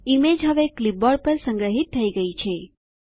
image હવે clipboard પર સંગ્રહીત થઇ ગયી છે